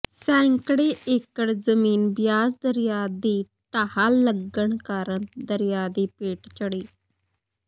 ਸੈਂਕੜੇ ਏਕੜ ਜ਼ਮੀਨ ਬਿਆਸ ਦਰਿਆ ਦੀ ਢਾਹ ਲੱਗਣ ਕਾਰਨ ਦਰਿਆ ਦੀ ਭੇਟ ਚੜੀ